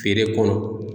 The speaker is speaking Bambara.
Feere kɔnɔ